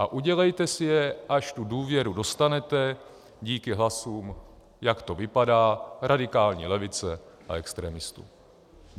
A udělejte si je, až tu důvěru dostanete díky hlasům, jak to vypadá, radikální levice a extremistů.